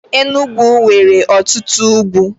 Enugwu nwere otutu ugwu.